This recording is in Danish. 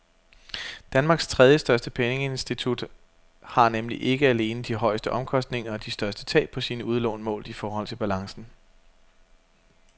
Danmarks tredjestørste pengeinstitut har nemlig ikke alene de højeste omkostninger og de største tab på sine udlån målt i forhold til balancen.